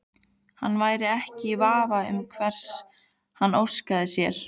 Hann væri ekki í vafa um hvers hann óskaði sér.